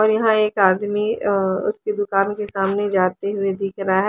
और यहां एक आदमी अं उसकी दुकान के सामने जाते हुए दिख रहा--